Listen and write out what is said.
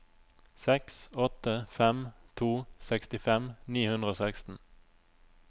seks åtte fem to sekstifem ni hundre og seksten